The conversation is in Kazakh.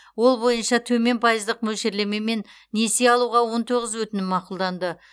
ол бойынша төмен пайыздық мөлшерлемемен несие алуға он тоғыз өтінім мақұлданды